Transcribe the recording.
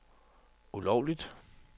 ulovligt